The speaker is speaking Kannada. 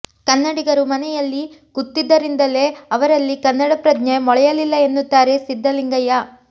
ಕನ್ನಡಿಗರು ಮನೆಯಲ್ಲಿ ಕೂತಿದ್ದರಿಂದಲೇ ಅವರಲ್ಲಿ ಕನ್ನಡ ಪ್ರಜ್ಞೆ ಮೊಳೆಯಲಿಲ್ಲ ಎನ್ನುತ್ತಾರೆ ಸಿದ್ಧಲಿಂಗಯ್ಯ